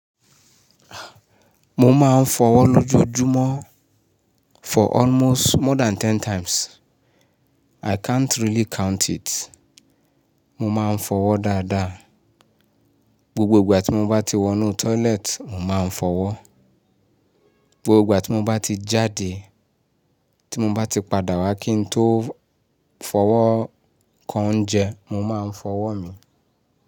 Mo máa ń fọwọ́ lójoojúmọ́ for almost more than ten times. I can't really count it. Mo máa ń fọwọ́ dáadáa. Gbogbo ìgbà tí mo bá ti wọnú toilet, mo máa ń fọwọ́. Gbogbo ìgbà tí mo bá ti jáde, tí mo bá ti padà wá kí n tó fọwọ́ kan oúnjẹ, mo máa ń fọwọ́ mi.